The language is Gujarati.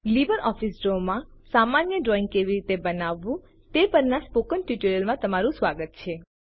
લીબરઓફીસ ડ્રો માં સામાન્ય ડ્રોઈંગ કેવી રીતે બનાવવું તે પરના સ્પોકન ટ્યુટોરિયલમાં તમારું સ્વાગત છે